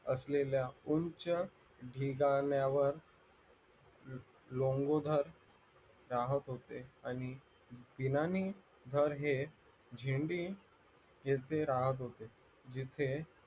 असलेल्या उंच ढिगान्यावर लंगोदर राहत होते आणि दीनानी धर हे झेंडी येथे राहत होते जिथे